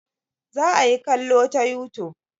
Za a yi kallo ta youtube.